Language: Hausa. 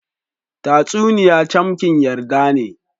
Tatasuniy camkin yarda ne.